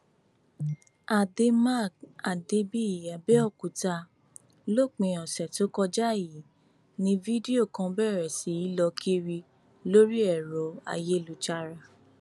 àdèmàkè àdébíyì abẹòkúta lópin ọsẹ tó kọjá yìí ní fídíò kan bẹrẹ sí í lọ kiri lórí ẹrọ ayélujára